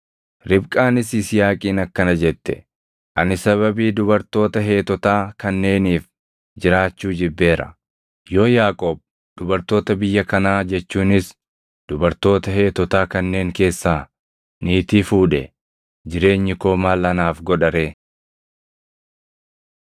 Ribqaanis Yisihaaqiin akkana jette; “Ani sababii dubartoota Heetotaa kanneeniif jiraachuu jibbeera. Yoo Yaaqoob dubartoota biyya kanaa jechuunis dubartoota Heetotaa kanneen keessaa niitii fuudhe, jireenyi koo maal anaaf godha ree!”